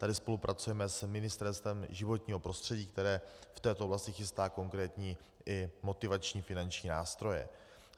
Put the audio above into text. Tady spolupracujeme s Ministerstvem životního prostředí, které v této oblasti chystá konkrétní i motivační finanční nástroje.